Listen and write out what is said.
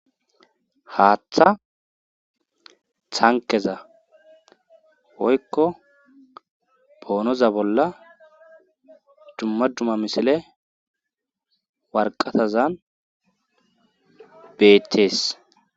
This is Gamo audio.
haaththa thankeza woykko boonoza bolla dumma dumma misile warqatazan beettees